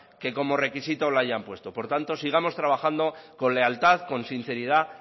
que como requisito la hayan puesto por tanto sigamos trabajando con lealtad con sinceridad